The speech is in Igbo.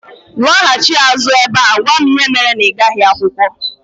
Lọghachi azụ ebe a gwa m ihe mere na ịgaghị akwụkwọ